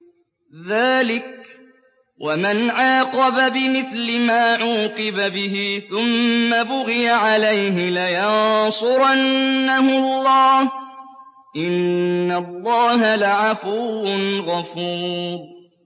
۞ ذَٰلِكَ وَمَنْ عَاقَبَ بِمِثْلِ مَا عُوقِبَ بِهِ ثُمَّ بُغِيَ عَلَيْهِ لَيَنصُرَنَّهُ اللَّهُ ۗ إِنَّ اللَّهَ لَعَفُوٌّ غَفُورٌ